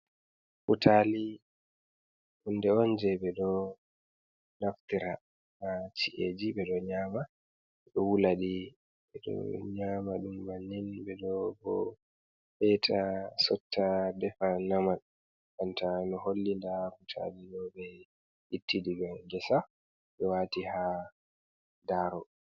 Butali hunde on je ɓe ɗo naftira ha ci’eji, ɓe ɗo nyama, ɓe ɗo wula di ɓe ɗo nyama ɗum bannin, ɓe ɗo bo eta, sotta defa nyama, banta noi holli nda butali ɗo ɓe itti diga gesa ɓe wati ha daro.